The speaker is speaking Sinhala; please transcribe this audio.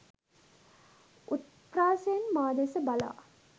උත්ප්‍රාසයෙන් මා දෙස බලා